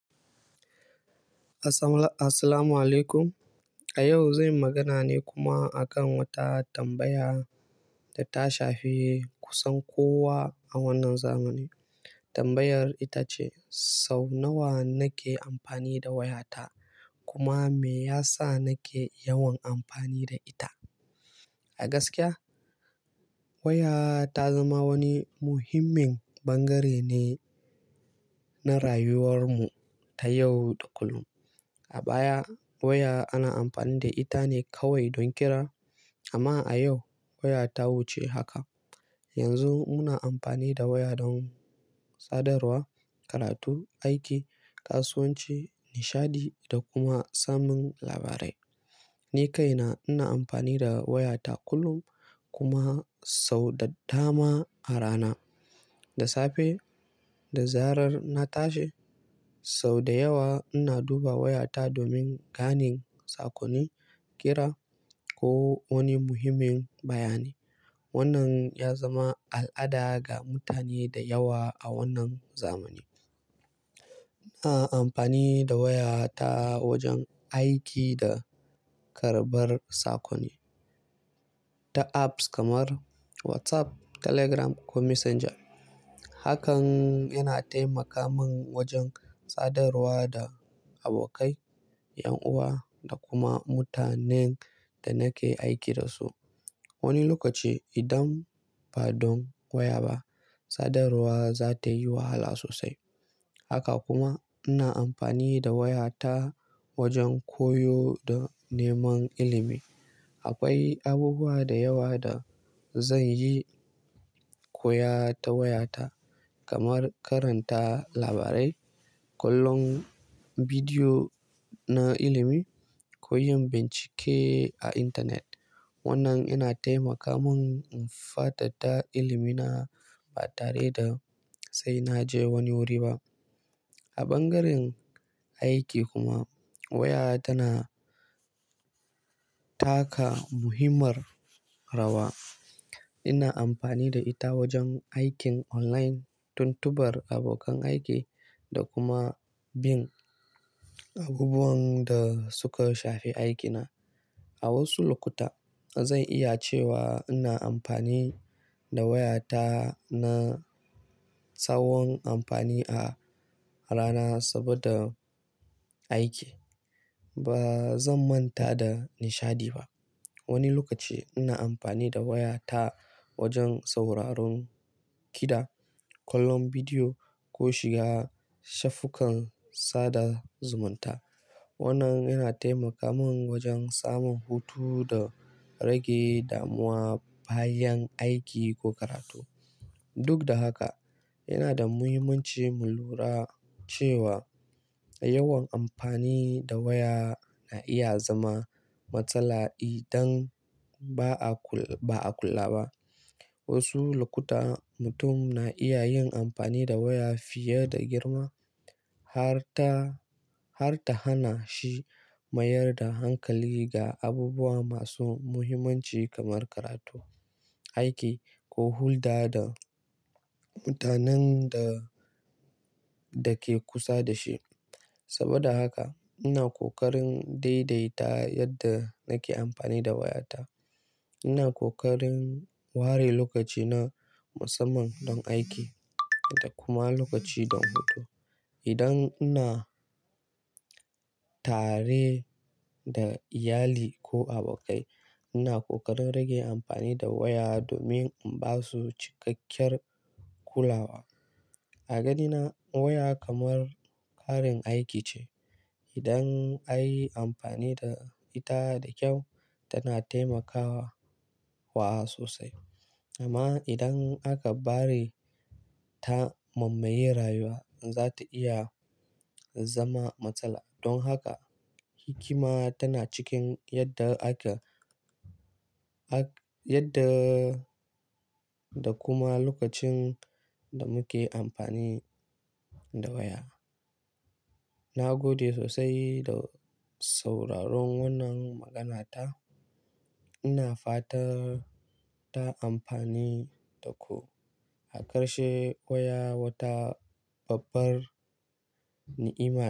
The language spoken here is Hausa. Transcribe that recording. Assalamala-- assalamualaikum. A yau, zan yi magana ne kuma a kan wata tambaya da ta shafi kusan kowa a wannan zamani. Tambayar ita ce, sau nawa nake amfani da wayata, kuma me yasa nake yawan amfani da ita? A gaskiya, waya ta zama wani muhimmin bangare ne na rayuwarmu ta yau da kullum. A baya, waya ana amfani da ita ne kawai don kira, amma a yau waya ta wuce haka. Yanzu muna amfani da waya don sadarwa, karatu, aiki, kasuwanci, nishaɗi da kuma samun labarai. Ni kaina ina amfani da wayata kullum kuma sau da dama a rana. Da safe, da zarar na tashi, sau da yawa ina duba wayata domin ganin sakonni, kira ko wani muhimmin bayani. Wannan ya zama al'ada ga mutane da yawa a wannan zamani. Ina amfani da waya ta wajen aiki da karɓar sakonni ta apps kamar WhatsApp, Telegram ko Messenger. Hakan yana taimaka mun wajen sadarwa da abokai, yan uwa da kuma mutanen da nake aiki da su. Wani lokaci, idan ba don waya ba, sadarwa za ta yi wahala sosai. Haka kuma, ina amfani da waya ta wajen koyo da neman ilimi. Akwai abubuwa da yawa da zan yi koya ta wayata, kamar karanta labarai, kallon bidiyo na ilimi ko yin bincike a intanet. Wannan yana taimaka mun in fatatta ilimi na ba tare da sai na je wani wuri ba. A bangaren aiki kuma, waya tana taka muhimmar rawa. Ina amfani da ita wajen aikin online, tuntubar abokan aiki da kuma bin abubuwan da suka shafi aikina. A wasu lokuta, zan iya cewa ina amfani da wayata na sawon amfani a rana saboda aiki. Ba zan manta da nishaɗi ba. Wani lokaci ina amfani da waya ta wajen sauraron kiɗa, kallon bidiyo ko shiga shafukan sada zumunta. Wannan yana taimaka mun wajen samun hutu da rage damuwa bayan aiki ko karatu. Duk da haka, yana da muhimmanci mu lura cewa yawan amfani da waya na iya zama matsala idan ba a kul— ba a kula ba. Wasu lokuta, mutum na iya yin amfani da waya fiye da girma har ta, har ta hana shi mayar da hankali ga abubuwa masu muhimmanci kamar karatu, aiki ko hulɗa da mutanen da, da ke kusa da shi. Saboda haka, ina ƙoƙarin daidaita yadda nake amfani da wayata. Ina ƙoƙarin ware lokaci na musamman don aiki da kuma lokaci don hutu. Idan ina tare da iyali ko abokai, ina ƙoƙarin rage amfani da waya domin in ba su cikakkiyar kulawa. A gadina, waya kamar ƙarin aiki ce. Idan an yi amfani da ita da kyau, tana taimakawa wa sosai. Amma idan aka bari ta mammaye rayuwa, za ta iya zama matsala. Don haka, hikima tana cikin yadda ake hak— yadda da kuma lokacin da muke amfani da waya. Na gode sosai da sauraron wannan maganata. Ina fata ta amfani da ku. Hakarshe waya wata babbar ni'ima ce.